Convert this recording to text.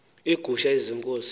iigusha ezi zenkosi